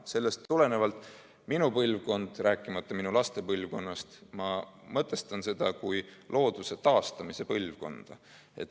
Sellest tulenevalt minu põlvkond, rääkimata minu laste põlvkonnast, peab seda probleemi mõtestama ja olema looduse taastamise põlvkond.